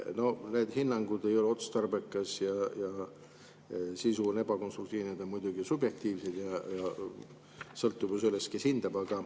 Need hinnangud, et ei ole otstarbekas ja sisu on ebakonstruktiivne, on muidugi subjektiivsed, sõltub ju sellest, kes hindab.